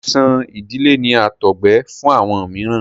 Àìsàn ìdílé ni àtọgbẹ fún àwọn mìíràn.